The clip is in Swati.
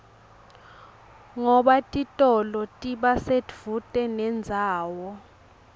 ngoba titolo tiba sedvute nendzawo